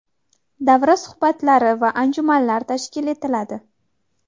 davra suhbatlari va anjumanlar tashkil etiladi.